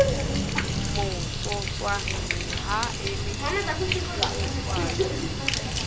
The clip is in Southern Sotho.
motsotswana ha e le difelekwane